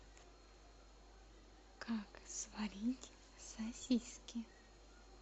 как сварить сосиски